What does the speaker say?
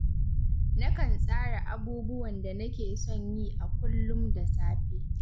Nakan tsara abubuwan da nake son yi a kullum da safe